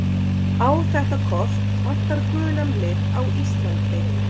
Á þetta kort vantar gulan lit á Íslandi.